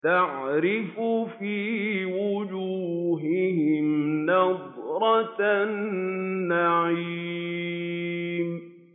تَعْرِفُ فِي وُجُوهِهِمْ نَضْرَةَ النَّعِيمِ